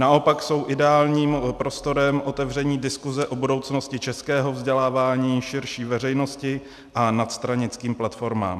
Naopak jsou ideálním prostorem otevření diskuse o budoucnosti českého vzdělávání širší veřejnosti a nadstranickým platformám.